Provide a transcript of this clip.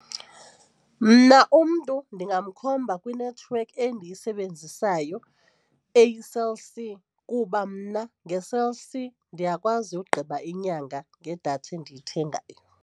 Mna umntu ndingamkhomba kwinethiwekhi endiyisebenzisayo eyiCell C kuba mna ngeCell c ndiyakwazi ugqiba inyanga ngedatha endiyithengayo.